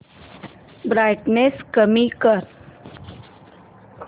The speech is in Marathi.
ब्राईटनेस कमी कर